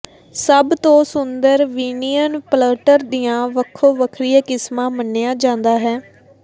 ਸਭ ਤੋਂ ਸੁੰਦਰ ਵਿਨੀਅਨ ਪਲੱਟਰ ਦੀਆਂ ਵੱਖੋ ਵੱਖਰੀਆਂ ਕਿਸਮਾਂ ਮੰਨਿਆ ਜਾਂਦਾ ਹੈ